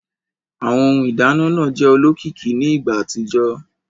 Awọn Ohun ìdáná náà jẹ olókìkí ní ìgbà àtijọ́